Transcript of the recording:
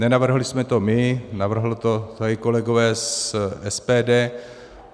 Nenavrhli jsme to my, navrhli to tady kolegové z SPD.